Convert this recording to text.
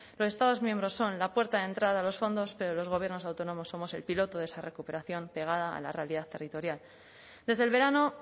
los estados miembros son la puerta de entrada a los fondos pero los gobiernos autónomos somos el piloto de esa recuperación pegada a la realidad territorial desde el verano